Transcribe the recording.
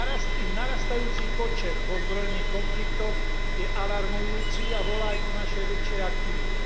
Ich narastajúci počet v ozbrojených konfliktoch je alarmujúci a volá aj po našej väčšej aktivite.